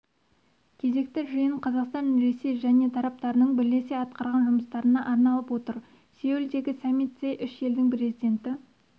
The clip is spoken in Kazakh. кезекті жиын қазақстан ресей және тараптарының бірлесе атқарған жұмыстарына арналып отыр сеулдегі саммитте үш елдің президенті